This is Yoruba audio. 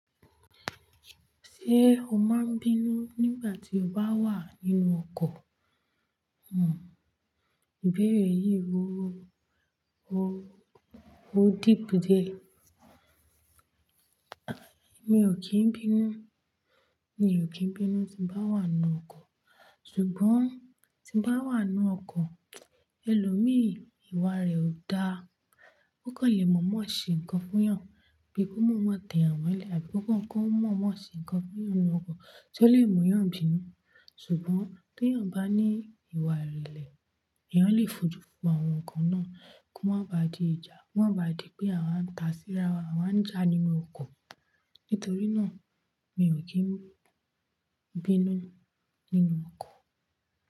Ṣé o máa ń bínú nígbà tí o bá wà nínú ọkọ̀? Ibéèrè yìí ó ó ó deep diẹ. Mi ò kí ń bínú, mi ò kí ń bínú tí nbá wà nínú ọkọ̀. Ṣùgbọ́n tí nbá wà nínú ọkọ̀, ẹlòmíì iwa rẹ̀ ò dáa. Ó kàn le mọ̀ọ́mọ̀ ṣe nǹkan fún èèyàn, bí ki won mọ̀ọ́mọ̀ tẹ eeyan molẹ̀, àbí kan kọ́kọ́ mọ̀ọ́mọ̀ ṣe nǹkan fún èèyàn nínú ọkọ̀, tí ó le mú èèyàn bínú. Ṣùgbọ́n tí èèyàn bá ní ìwà ìrèlè, èèyàn lè fojú fo àwọn nkan náà kó máa ba di ìjà, kó máa ba di pé àwa ń tàsírà, àwa ń jà nínú ọkọ̀. Nítorí náà, mi ò kí ń bínú nínú ọkọ̀